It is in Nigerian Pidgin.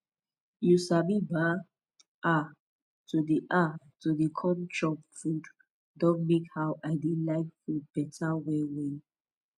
u sabi bah ah to de ah to de com chop food don make how i de like food beta well well